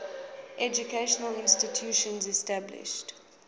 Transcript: educational institutions established